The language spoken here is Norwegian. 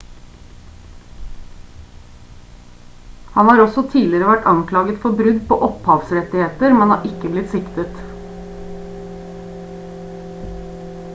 han har også tidligere vært anklaget for brudd på opphavsrettigheter men har ikke blitt siktet